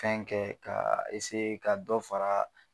Fɛn kɛ ,ka ka dɔ fara